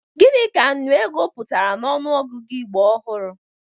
Gini ka nnụ ego pụtara n'ọnụọgụgụ Igbo ọhụrụ?